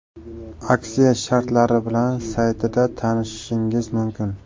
Aksiya shartlari bilan saytida tanishishingiz mumkin.